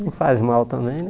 Não faz mal também, né?